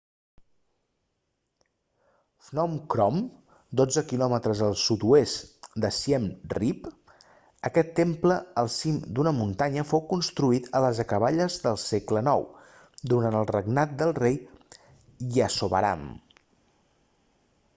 phnom krom 12 km al sud-oest de siem reap aquest temple al cim d'una muntanya fou construït a les acaballes del segle ix durant el regnat del rei yasovarman